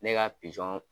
Ne ka pizɔn